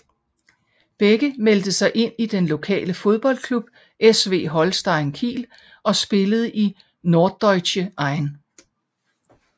Begge meldte sig ind i den lokale fodboldklub SV Holstein Kiel og spillede i Norddeutsche 1